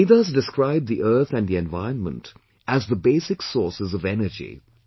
Vedas, describe the Earth and the Environment as the basic sources of energy